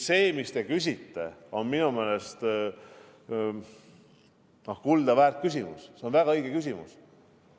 See, mis te küsisite, on minu meelest kuldaväärt küsimus, see on väga õige küsimus.